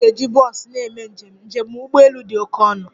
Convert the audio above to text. Anyị ga-eji bọs na-eme njem, njem ụgbọ elu dị oke ọnụ